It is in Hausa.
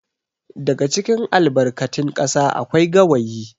daga cikin albarkatin kasa akwai gawayi